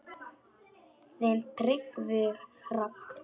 Þinn Tryggvi Hrafn.